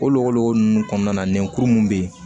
O lɔgɔ ninnu kɔnɔna na nɛkuru minnu bɛ yen